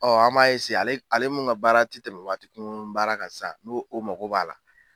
Ɔ an m'a eseye ale ale mun ka baara te tɛmɛ waati kunkuruni baara kan san n'o o mago b'a la